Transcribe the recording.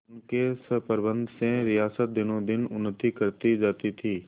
उनके सुप्रबंध से रियासत दिनोंदिन उन्नति करती जाती थी